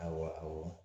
Awa awɔ